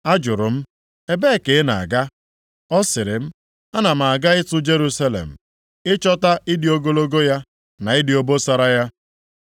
Ajụrụ m, “Ebee ka ị na-aga?” Ọ sịrị m, “Ana m aga ịtụ Jerusalem, ịchọta ịdị ogologo ya, na ịdị obosara ya.”